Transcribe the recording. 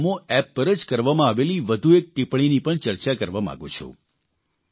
તો હું નમો એપ પર જ કરવામાં આવેલી વધુ એક ટિપ્પણીની પણ ચર્ચા કરવા માંગું છું